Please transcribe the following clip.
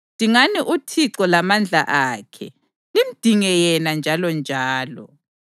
Dingani uThixo lamandla akhe, limdinge yena njalonjalo.